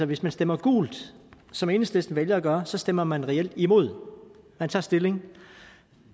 hvis man stemmer gult som enhedslisten vælger at gøre stemmer man reelt imod man tager stilling